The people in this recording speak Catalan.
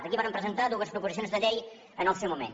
aquí vàrem presentar dues proposicions de llei en el seu moment